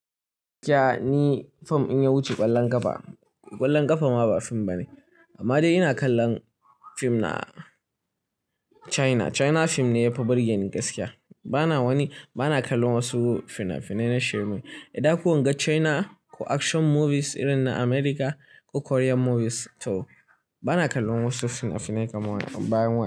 Gaskiya ni fim in ya wuce ƙwallon ƙafa, ƙwallon ƙafa ma ba fim bane. Amma dai ina kallon fim na China. China fim ne yafi burgeni gaskiya. Bana wani, bana kallon wasu fina-finai na shirme. Da ko in ga China ko action movies irin na America ko Korean movies to bana kallon wasu fina-finai kamar bayan wa.